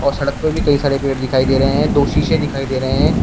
और सड़क पे भी कई सारे पेड़ दिखाई दे रहे हैं दो शीशे दिखाई दे रहे हैं।